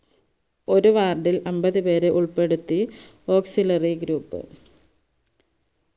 ഒരു ward ഇൽ അമ്പതുപേരെ ഉൾപ്പെടുത്തി auxiliary group